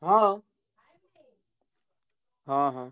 ହଁ। ହଁ ହଁ।